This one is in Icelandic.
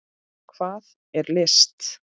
Hvað er list?